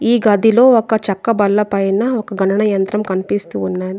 ఈ గదిలో ఒక చెక్క బల్ల పైన ఒక గణన యంత్రం కనిపిస్తూ ఉన్నది.